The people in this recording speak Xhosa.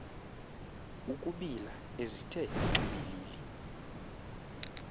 ukubila ezithe xibilili